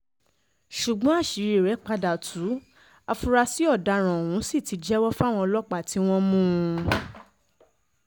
ṣùgbọ́n àṣírí rẹ̀ padà tú àfúrásì ọ̀daràn ohun sì ti jẹ́wọ́ fáwọn ọlọ́pàá tí wọ́n mú un